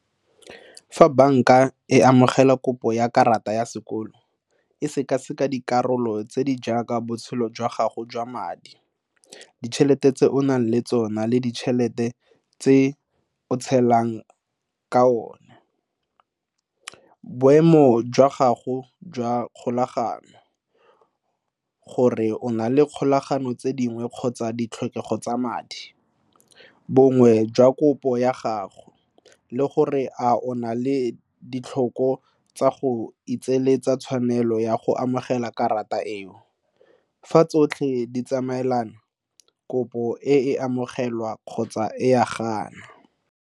Fa banka e amogela kopo ya karata ya sekoloto e sekaseka dikarolo tse di jaaka botshelo jwa gago jwa madi, ditšhelete tse o nang le tsona le ditšhelete tse o tshelang ka tsone. Boemo jwa gago jwa kgolagano, gore o na le kgolagano tse dingwe, kgotsa ditlhokego tsa madi, boemo jwa kopo ya gago le gore a o na le ditlhoko tsa go itshireletsa ka tshwanelo ya go amogela karata eo. Fa tsotlhe di tsamaelana, kopo e ka amogelwa kgotsa e ya ganwa.